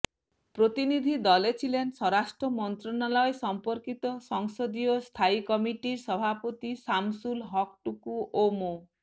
প্রতিনিধি দলে ছিলেন স্বরাষ্ট্র মন্ত্রণালয় সম্পর্কিত সংসদীয় স্থায়ী কমিটির সভাপতি শামসুল হক টুকু ও মো